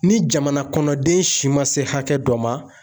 Ni jamana kɔnɔden si ma se hakɛ dɔ ma